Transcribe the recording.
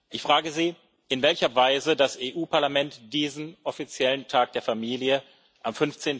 Ich frage Sie, in welcher Weise das Europäische Parlament diesen offiziellen Tag der Familie am